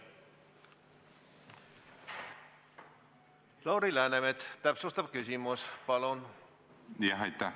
Lauri Läänemets, täpsustav küsimus, palun!